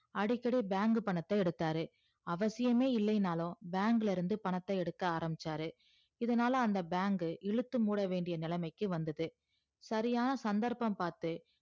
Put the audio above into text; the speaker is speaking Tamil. அடிக்கடி bank பணத்த எடுத்தாரு அவசியமே இல்லைனாலு bank ல இருந்து பணத்த எடுக்க ஆரம்பிச்சாரு இதனால அந்த bank க்கு இழுத்து மூடவேண்டிய நிலைமைக்கு வந்தது சரியான சந்தர்ப்பம் பாத்து